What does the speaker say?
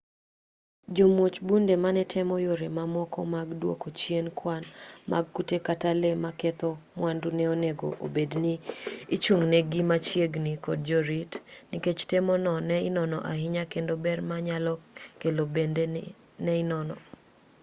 jomuoj bunde manetemo yore ma moko mag dwoko chien kwan mag kute kata lee maketho mwandu ne onego obedi ni ichung'negi machiegni kod jorit nikech tem no ne inono ahinya kendo ber monyalo kelo bende ne inono